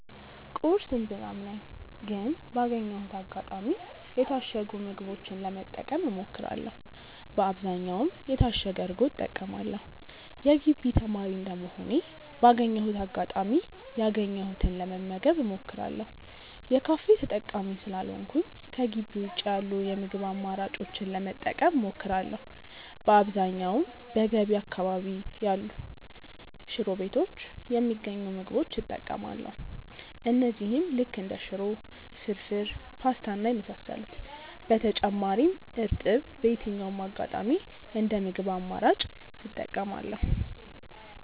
ቁርስ እምብዛም ነኝ ግን ባገኘሁት አጋጣሚ የታሸጉ ምግቦችን ለመጠቀም እሞክራለው በአብዛኛውም የታሸገ እርጎ እጠቀማለው። የግቢ ተማሪ እንደመሆኔ ባገኘሁት አጋጣሚ ያገኘሁትን ለመመገብ እሞክራለው። የካፌ ተጠቃሚ ስላልሆንኩኝ ከጊቢ ውጪ ያሉ የምግብ አማራጮችን ለመጠቀም እሞክራለው። በአብዛኛውም በገቢ አካባቢ ያሉ ሽሮ ቤቶች የሚገኙ ምግቦች እጠቀማለው እነዚህም ልክ እንደ ሽሮ፣ ፍርፉር፣ ፖስታ እና የመሳሰሉት። በተጨማሪም እርጥብ በየትኛውም አጋጣሚ እንደ ምግብ አማራጭ እጠቀማለው።